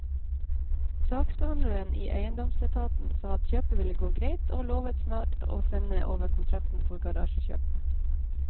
Saksbehandleren i eiendomsetaten sa at kjøpet ville gå greit, og lovet snart å sende over kontrakten for garasjekjøpet.